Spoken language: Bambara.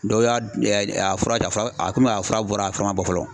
Dɔw y'a a fura kɛ a fura a komi a fura bɔra a fura man bɔ.